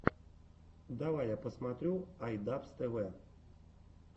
давай я посмотрю ай дабз тэ вэ